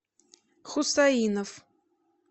хусаинов